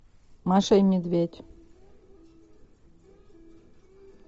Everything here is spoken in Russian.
маша и медведь